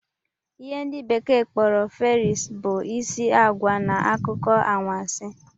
ihe ndi bekee kporo Fairies, bụ isi agwa na akụkọ anwansi